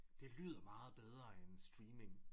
Det lyder meget bedre end streaming